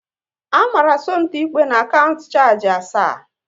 A mara Somto ikpe n'kaunt shargi asaa